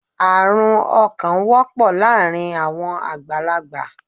Arún ọkàn wọpọ láàrin àwọn àgbàlágbà